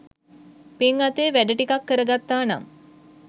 පින් අතේ වැඩ ටිකක් කර ගත්තා නම්